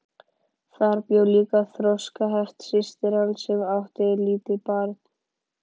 Þar bjó líka þroskaheft systir hans sem átti lítið barn.